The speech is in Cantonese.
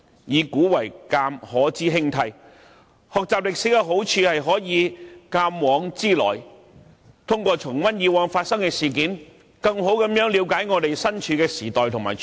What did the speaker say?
"以古為鏡，可知興替"，學習歷史的好處是可以鑒往知來，通過重溫以往發生的事件，更好地了解我們身處的時代和處境。